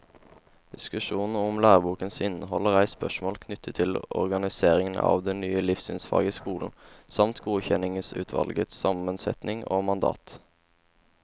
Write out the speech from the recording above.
Diskusjonen om lærebokens innhold har reist spørsmål knyttet til organiseringen av det nye livssynsfaget i skolen, samt godkjenningsutvalgets sammensetning og mandat.